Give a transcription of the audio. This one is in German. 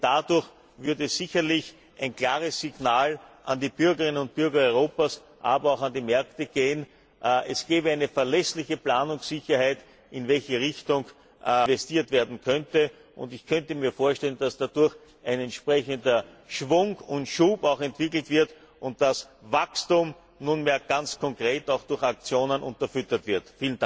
Denn dadurch würde sicherlich ein klares Signal an die Bürgerinnen und Bürger Europas, aber auch an die Märkte gehen, es gäbe eine verlässliche Planungssicherheit, in welche Richtung investiert werden könnte, und ich könnte mir vorstellen, das dadurch ein entsprechender Schwung und Schub entwickelt wird und dass Wachstum nunmehr ganz konkret auch durch Aktionen unterfüttert wird.